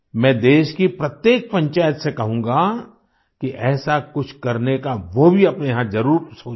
मैं देश की प्रत्येक पंचायत से कहूंगा कि ऐसा कुछ करने का वो भी अपने यहाँ जरुर सोचें